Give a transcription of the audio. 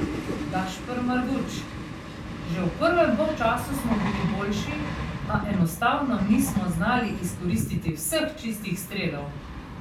Gašper Marguč: "Že v prvem polčasu smo bili boljši, a enostavno nismo znali izkoristiti vseh čistih strelov.